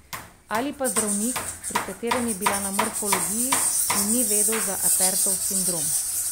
Ali pa zdravnik, pri katerem je bila na morfologiji in ni vedel za Apertov sindrom.